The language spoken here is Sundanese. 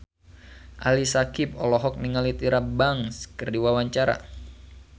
Ali Syakieb olohok ningali Tyra Banks keur diwawancara